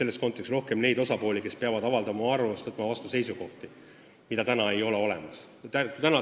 Rohkem hakkab olema neid osapooli, kes peavad oma arvamust avaldama ja seisukohti vastu võtma.